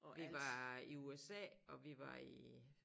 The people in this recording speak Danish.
Vi var i USA og vi var i